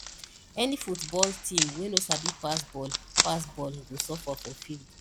any football team wey no sabi pass ball pass ball go suffer for field